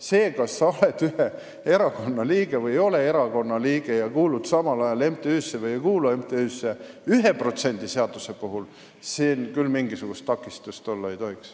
Sellest, kas sa oled või ei ole ühe erakonna liige ja kas sa kuulud või ei kuulu samal ajal MTÜ-sse, ei tohiks küll 1% seaduse puhul mingisugust takistust olla.